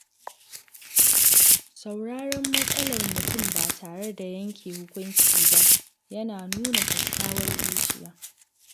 Sauraron matsalar mutum ba tare da yanke hukunci ba yana nuna kyakkyawar zuciya.